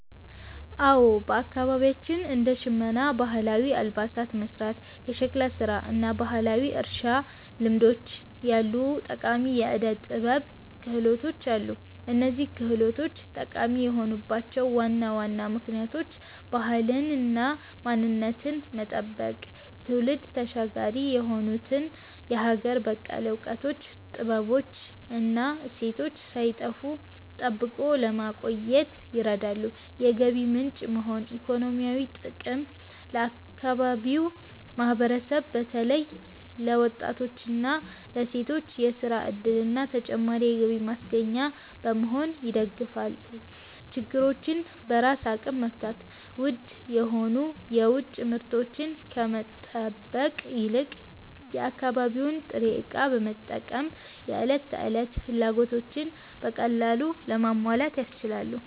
አዎ፣ በአካባቢያችን እንደ ሸመና (ባህላዊ አልባሳትን መሥራት)፣ የሸክላ ሥራ እና ባህላዊ የእርሻ ልምዶች ያሉ ጠቃሚ የዕደ-ጥበብ ክህሎቶች አሉ። እነዚህ ክህሎቶች ጠቃሚ የሆኑባቸው ዋና ዋና ምክንያቶች፦ ባህልንና ማንነትን መጠበቅ፦ ትውልድ ተሻጋሪ የሆኑትን የሀገር በቀል እውቀቶች፣ ጥበቦች እና እሴቶች ሳይጠፉ ጠብቆ ለማቆየት ይረዳሉ። የገቢ ምንጭ መሆን (ኢኮኖሚያዊ ጥቅም)፦ ለአካባቢው ማህበረሰብ በተለይም ለወጣቶችና ለሴቶች የሥራ ዕድልና ተጨማሪ የገቢ ማስገኛ በመሆን ይደግፋሉ። ችግሮችን በራስ አቅም መፍታት፦ ውድ የሆኑ የውጭ ምርቶችን ከመጠበቅ ይልቅ የአካባቢውን ጥሬ ዕቃ በመጠቀም የዕለት ተዕለት ፍላጎቶችን በቀላሉ ለማሟላት ያስችላሉ።